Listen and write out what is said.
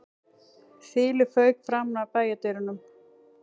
Þilið fauk framan af bæjardyrunum